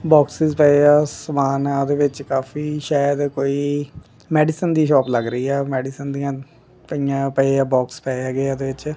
Boxes ਪਏ ਆ ਸਮਾਨ ਆ ਉਹਦੇ ਵਿੱਚ ਕਾਫੀ ਸ਼ਾਇਦ ਕੋਈ ਮੈਡੀਸਨ ਦੀ ਸ਼ੋਪ ਲੱਗ ਰਹੀ ਆ ਮੈਡੀਸਨ ਦੀਆਂ ਪਈਆਂ ਪਏ ਆ ਬੋਕਸ ਪਏ ਹੈਗੇ ਆ ਇਹਦੇ ਵਿੱਚ।